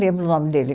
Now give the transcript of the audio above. Lembro o nome dele.